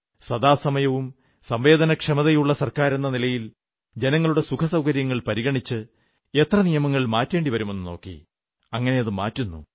സദാസമയവും സംവേദനക്ഷമതയുള്ള സർക്കാരെന്ന നിലയിൽ ജനങ്ങളുടെ സുഖസൌകര്യങ്ങൾ പരിഗണിച്ച് എത്ര നിയമങ്ങൾ മാറ്റേണ്ടി വരുന്നുവെന്നു നോക്കി മാറ്റുന്നു